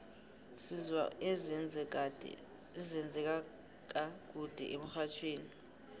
sizwa ezenze ka kude emxhajhewi